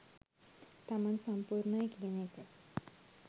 තමන් සම්පුර්ණයි කියන එක